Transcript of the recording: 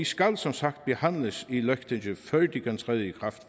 skal som sagt behandles i løgtingið før de kan træde i kraft